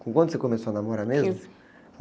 Com quanto você começou a namorar mesmo?uinze.